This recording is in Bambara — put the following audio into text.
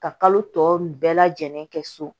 Ka kalo tɔ bɛɛ lajɛlen kɛ so